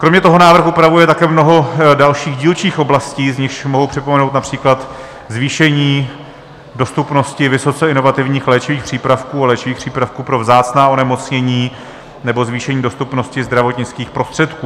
Kromě toho návrh upravuje také mnoho dalších dílčích oblastí, z nichž mohu připomenout například zvýšení dostupnosti vysoce inovativních léčivých přípravků a léčivých přípravků pro vzácná onemocnění nebo zvýšení dostupnosti zdravotnických prostředků.